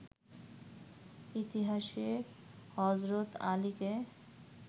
ইতিহাসে হজরত আলীকে